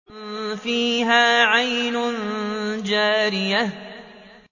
فِيهَا عَيْنٌ جَارِيَةٌ